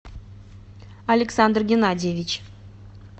александр геннадьевич